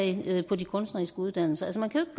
elever på de kunstneriske uddannelser